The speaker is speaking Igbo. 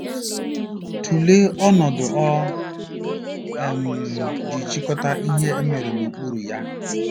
Tụlee ọnọdụ o um ji chịkọta Ihe E Mere n'okpuru ya.